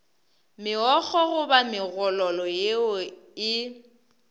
megokgo goba megololo yeo e